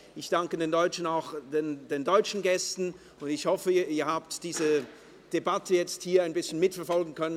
Ich danke auch den deutschen Gästen und hoffe, Sie haben diese Debatte nun ein wenig mitverfolgen können.